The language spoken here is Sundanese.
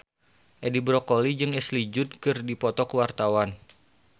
Edi Brokoli jeung Ashley Judd keur dipoto ku wartawan